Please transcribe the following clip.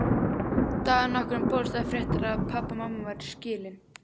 Dag nokkurn bárust þær fréttir að pabbi og mamma væru skilin.